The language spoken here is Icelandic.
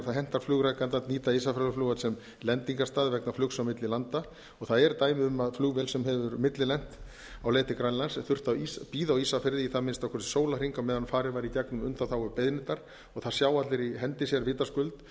hentar flugrekanda að nýta ísafjarðarflugvöll sem lendingarstað vegna flugs á milli landa og það eru dæmi um að flugvél sem hefur millilent á leið til grænlands þurfti að bíða á ísafirði í það minnsta sólarhring meðan farið var í gegnum undanþágubeiðnirnar og það sjá allir í hendi sér vitaskuld